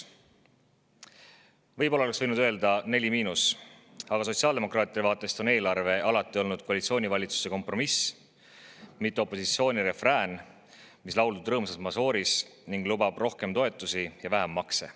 Võib-olla oleks võinud öelda neli miinus, aga sotsiaaldemokraatide vaatest on eelarve alati olnud koalitsioonivalitsuse kompromiss, mitte opositsiooni refrään, mis on lauldud rõõmsas mažooris ning lubab rohkem toetusi ja vähem makse.